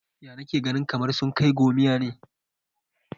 Ya nake ganin kamar sun kai gomiya ne?